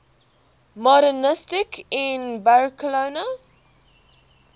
modernisme in barcelona